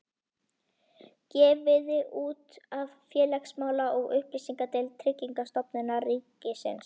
Gefið út af félagsmála- og upplýsingadeild Tryggingastofnunar ríkisins